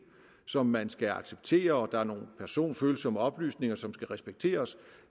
som man skal acceptere og der er nogle personfølsomme oplysninger som skal respekteres